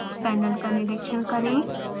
panel का निरिक्षण करें